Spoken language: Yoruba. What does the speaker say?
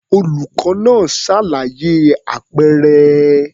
Olùkọ́ náà ṣàlàyé àpẹẹrẹ.